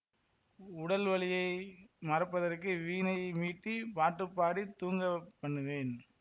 உடல் வலியை மறப்பதற்கு வீணை மீட்டிப் பாட்டுப் பாடித் தூங்கப் பண்ணுவேன்